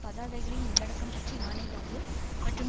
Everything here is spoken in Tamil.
பதாகைகளின் உள்ளடக்கம் பற்றி ஆணையிடாது மற்றும்